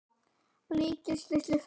líkist lítilli flugu.